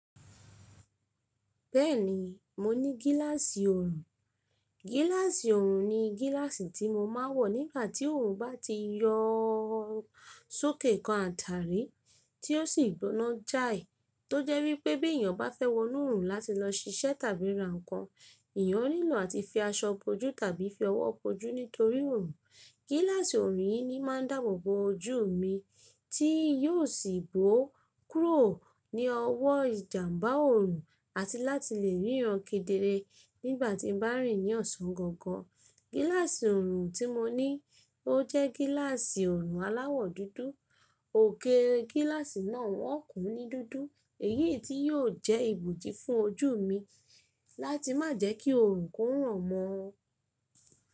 Bẹ́ẹ̀ni mo ní gíláàsì oorun. Gíláàsì oorun ni gíláàsì tí mo máa ń wọ̀ nígbà tí oorun bá ti yọọ sókè kan àtàrí tí ó sì gbóná jáì. Tó jẹ́ wípé bí èèyàn ba fẹ́ wọnú oorun láti lọ ṣiṣẹ́ tàbí ra nǹkan, èèyàn nílò àti fi aṣọ bojú tàbí fi ọwọ́ bojú nítorí oorun. Gíláàsì oorun yìí ni máa ń dáàbò bo ojú mi tí yóò sì bó kúrò ní ọwọ́ ìjàmbá oorun àti láti lè ríran kedere nígbà tí n bá rìn ní ọ̀sán gangan. Gíláàsì oorun tí mo ní ó jẹ́ gíláàsì oorun aláwọ̀ dúdú. Òkè gíláàsì náà wọ́n kún ní dúdú èyí tí yóò jẹ́ ibòji fún ojú mi láti má jẹ́ kí oorun kó ràn mọ́ọ.